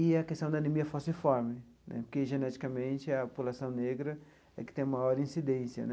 E a questão da anemia falciforme né, porque geneticamente a população negra é que tem maior incidência né.